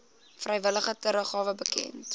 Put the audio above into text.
vrywillige teruggawe bekend